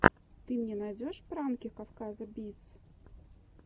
ты мне найдешь пранки кавказа битс